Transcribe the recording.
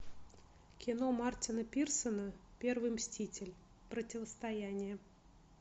кино мартина пирсона первый мститель противостояние